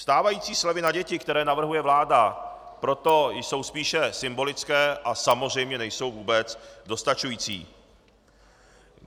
Stávající slevy na děti, které navrhuje vláda, proto jsou spíše symbolické a samozřejmě nejsou vůbec dostačující.